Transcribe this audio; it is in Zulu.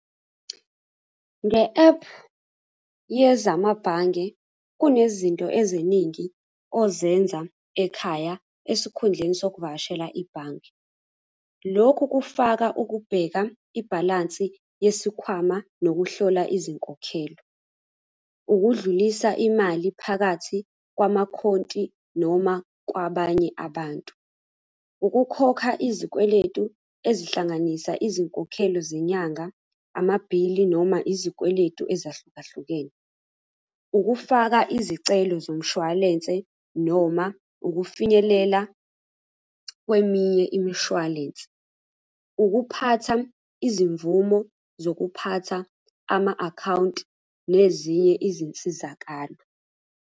Nge-ephu yezamabhange, kunezinto eziningi ozenza ekhaya esikhundleni sokuvakashela ibhange. Lokhu kufaka ukubheka ibhalansi yesikhwama nokuhlola izinkokhelo. Ukudlulisa imali phakathi kwamakhonti noma kwabanye abantu. Ukukhokha izikweletu ezihlanganisa izinkokhelo zenyanga, amabhili noma izikweletu ezahlukahlukene. Ukufaka izicelo zomshwalense noma ukufinyelela kweminye imishwalense. Ukuphatha izimvumo zokuphatha ama-akhawunti nezinye izinsizakalo.